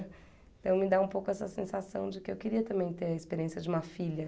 Então me dá um pouco essa sensação de que eu queria também ter a experiência de uma filha.